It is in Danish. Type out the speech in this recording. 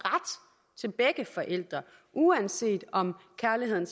til begge forældre uanset om kærligheden